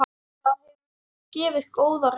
Það hefur gefið góða raun.